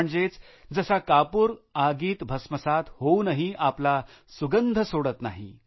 म्हणजेच जसा कापूर आगीत भस्मसात होऊनही आपला सुगंध सोडत नाही